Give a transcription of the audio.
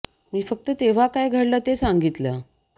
मी फक्त तेव्हा काय घडलं ते सांगितलं